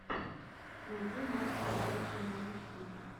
найти матча челси норвич сити